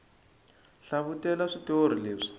hlavutela switori leswi